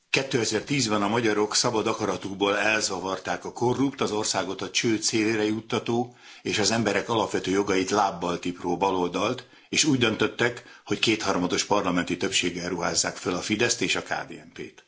Tisztelt Elnök úr! 2010 ben a magyarok szabad akaratukból elzavarták a korrupt, az országot a csőd szélére juttató és az emberek alapvető jogait lábbal tipró baloldalt, és úgy döntöttek, hogy kétharmados parlamenti többséggel ruházzák fel a Fideszt és a KDNP t.